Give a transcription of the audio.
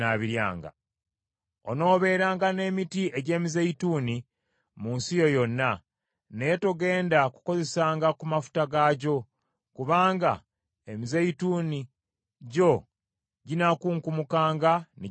Onoobeeranga n’emiti egy’emizeeyituuni mu nsi yo yonna, naye togenda kukozesanga ku mafuta gaagyo, kubanga emizeeyituuni gyo ginaakunkumukanga ne gigwa wansi.